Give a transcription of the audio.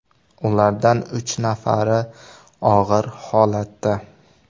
Ulardan uch nafari og‘ir holatda.